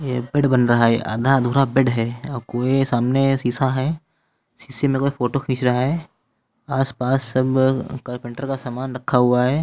यह बेड बन रहा है। आधा अधूरा बेड है और वह सामने शीशा है। शीशे में कोई फोटो खींच रहा है। आसपास सब कारपेंटर का सामान रखा हुआ है।